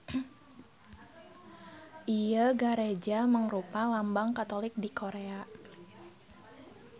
Ieu gareja mangrupa lambang Katolik di Korea.